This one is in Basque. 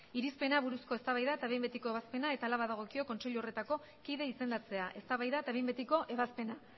irizpenari buruzko eztabaida eta behin betiko ebazpena eta hala badagokio kontseilu horretako kide izendatzea eztabaida eta behin betiko ebazpena